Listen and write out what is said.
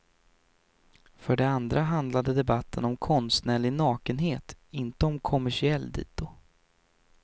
För det andra handlade debatten om konstnärlig nakenhet, inte om kommersiell dito.